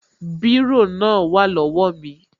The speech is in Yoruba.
Bírò náà wà lówá mi